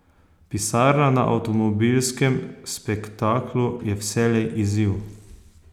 Pisarna na avtomobilskem spektaklu je vselej izziv.